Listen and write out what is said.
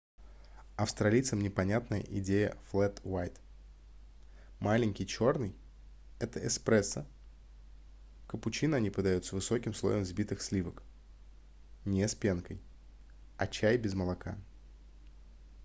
австралийцам непонятна идея флэт уайт". маленький чёрный — это эспрессо капучино они подают с высоким слоем взбитых сливок не с пенкой а чай без молока